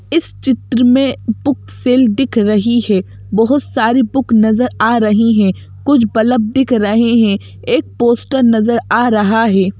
इस चित्र में बुक सेल दिख रही है बहुत सारी बुक नज़र आ रही हैं कुछ बल्ब दिख रहे हैं एक पोस्टर नजर आ रहा है।